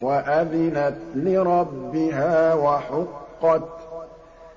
وَأَذِنَتْ لِرَبِّهَا وَحُقَّتْ